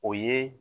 O ye